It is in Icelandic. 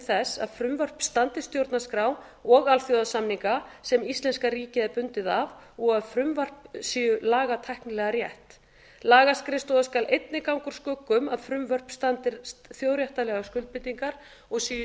þess að frumvörp standist stjórnarskrá og alþjóðasamninga sem íslenska ríkið er bundið af og að frumvörp séu lagatæknilega rétt lagaskrifstofa skal einnig ganga úr skugga um að frumvörp standist þjóðréttarlegar skuldbindingar og séu í